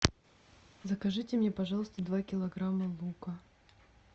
закажите мне пожалуйста два килограмма лука